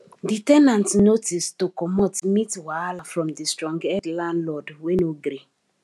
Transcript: di ten ant notice to comot meet wahala from di strong head landlord wey no gree